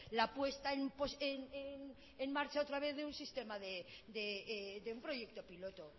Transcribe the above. la puesta en marcha otra vez de un proyecto piloto